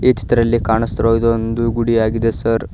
ಚಿತ್ರದಲ್ಲಿ ಕಾಣಿಸುತ್ತಿರುವುದು ಒಂದು ಗುಡಿಯಾಗಿದೆ ಸರ್ .